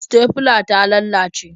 Sitefila ta ta lalace.